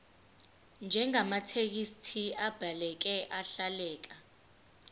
njengamathekisthi abhaleke ahleleka